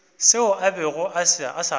seo a bego a sa